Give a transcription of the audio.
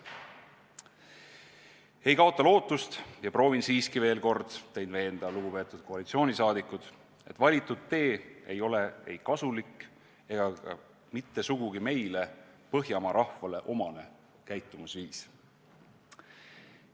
Ma ei ole lootust kaotanud ja proovin siiski veel kord teid veenda, lugupeetud koalitsioonisaadikud, et valitud tee pole ei kasulik ega ka mitte sugugi meile, põhjamaa rahvale, omane käitumisviis.